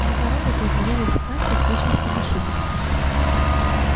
глаза робота измеряли дистанцию с точностью машины